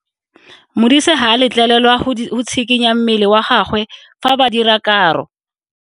Modise ga a letlelelwa go tshikinya mmele wa gagwe fa ba dira karo.